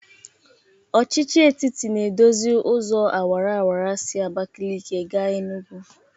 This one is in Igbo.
Ọchịchị etiti na-edozi ụzọ awaraawara si Abakalịkị ga Enugwu.